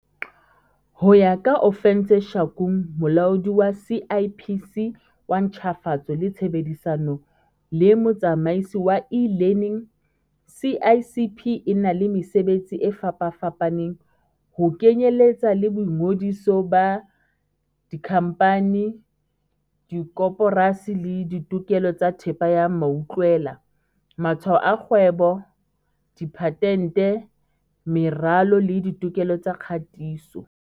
Ho ya ka Ofentse Shakung, Molaodi wa CIPC wa Ntjhafatso le Tshebedisano le Motsamaisi wa E-learning, CIPC e na le mesebetsi e fapafapaneng, ho kenyeletsa le boingodiso ba dikhamphani, dikoporasi le ditokelo tsa thepa ya mautlwela, matshwao a kgwebo, diphatente, meralo le ditokelo tsa kgatiso.